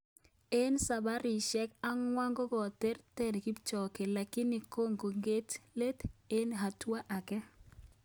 Eng sabarisyek ang'wan ko kiterteris Kipchoge lakini kokonge't let eng hatua aeng